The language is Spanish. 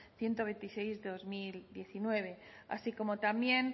ciento veintiséis barra dos mil diecinueve así como también